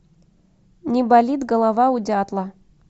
не болит голова у дятла